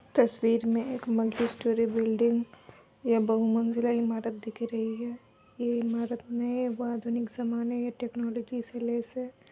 तस्वीर में एक मल्टीस्टोरी बिल्डिंग या बहुमंजिला इमारत दिख रही है। ये इमारत में व आधुनिक जमाने व टेक्नोलॉजी से लैस है।